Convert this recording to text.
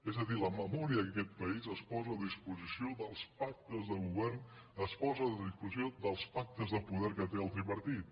és a dir la memòria d’aquest país es posa a disposició dels pactes de govern es posa a disposició dels pactes de poder que té el tripartit